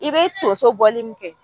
I be tonso bɔli min kɛ